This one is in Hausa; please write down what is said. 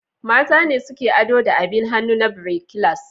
Mata ne suke ado da abin hannu na birekilas.